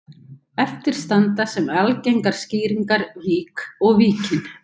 Eftir standa sem algengar skýringar vík og Víkin.